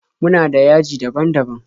Muna da .yaji daban-daban.